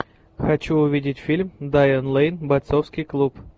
хочу увидеть фильм дайан лэйн бойцовский клуб